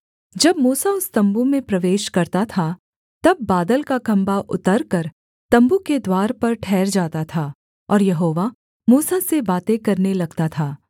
जब मूसा उस तम्बू में प्रवेश करता था तब बादल का खम्भा उतरकर तम्बू के द्वार पर ठहर जाता था और यहोवा मूसा से बातें करने लगता था